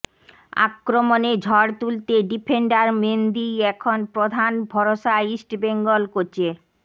আক্রমণে ঝড় তুলতে ডিফেন্ডার মেন্দিই এখন প্রধান ভরসা ইস্টবেঙ্গল কোচের